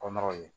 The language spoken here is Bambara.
Kɔnɔw ye